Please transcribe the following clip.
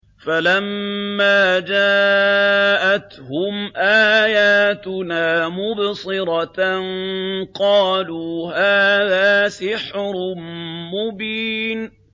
فَلَمَّا جَاءَتْهُمْ آيَاتُنَا مُبْصِرَةً قَالُوا هَٰذَا سِحْرٌ مُّبِينٌ